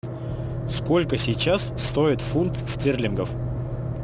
сколько сейчас стоит фунт стерлингов